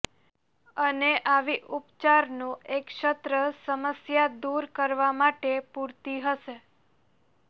અને આવી ઉપચારનો એક સત્ર સમસ્યા દૂર કરવા માટે પૂરતી હશે